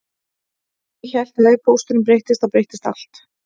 Ég hélt að ef pósturinn breyttist þá breyttist allt